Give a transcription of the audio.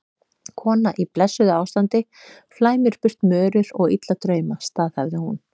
Kona í blessuðu ástandi flæmir burt mörur og illa drauma, staðhæfði hún.